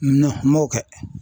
m'o kɛ.